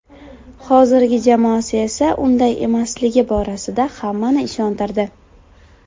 Hozirgi jamoasi esa unday emasligi borasida hammani ishontirdi.